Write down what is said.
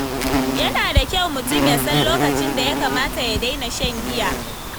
Yana da kyau mutum ya san lokacin da ya kamata ya daina shan giya.